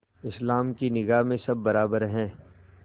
इस्लाम की निगाह में सब बराबर हैं